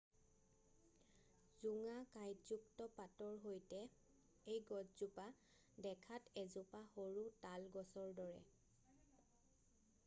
জোঙা কাইঁটযুক্ত পাতৰ সৈতে এই গছজোপা দেখাত এজোপা সৰু তাল গছৰ দৰে